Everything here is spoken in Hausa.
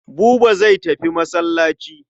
Buba zai tafi masallaci.